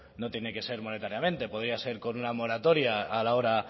no tiene que ser monetariamente podría ser con una moratoria a la hora